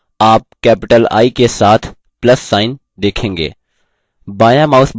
आप capital i के साथ plus sign देखेंगे